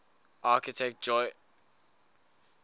architect jolyon brewis